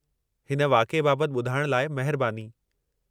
हिन वाक़िए बाबति ॿुधाइणु लाइ महिरबानी।